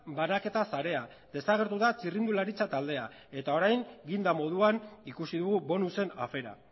banaketa sarea desagertu da txirrindularitza taldea eta orain ginda moduan ikusi dugu bonusen afera